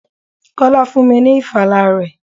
Kọ́lá fún mi ní ìfala rẹ̀.